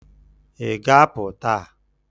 Ị ga-apụ taa?